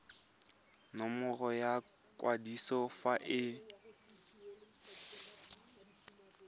nomoro ya kwadiso fa e